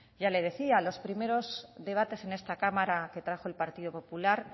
ya le decía los primeros debates a esta cámara que trajo el partido popular